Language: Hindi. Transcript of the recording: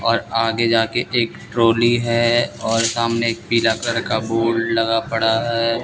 और आगे जाके एक ट्रॉली है और सामने एक पीला कलर का बोर्ड लगा पड़ा है।